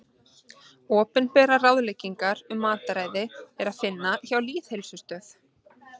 Opinberar ráðleggingar um mataræði er að finna hjá Lýðheilsustöð.